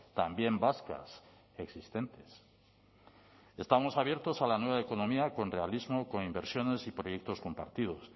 también vascas existentes estamos abiertos a la nueva economía con realismo con inversiones y proyectos compartidos